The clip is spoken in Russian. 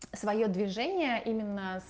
своё движение именно